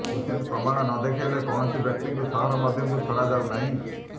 ଉଚିତ୍ ପ୍ରମାଣ ନଦେଖାଇଲେ କୌଣସି ବ୍ୟକ୍ତିଙ୍କୁ ସହର ମଧ୍ୟକୁ ଛଡାଯାଉନାହିଁ